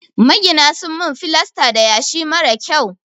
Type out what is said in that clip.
Magina sun min filasta da yashi marar kyau.